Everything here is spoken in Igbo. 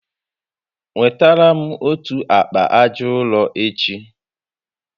Wetara m otu akpa aja ụrọ echi